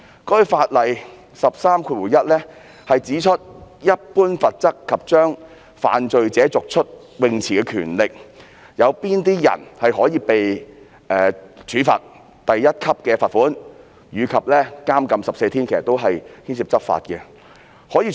在第131條"一般罰則及將犯罪者逐出泳池的權力"中，指出有甚麼人會被處罰第1級罰款及監禁14天，這涉及執法問題。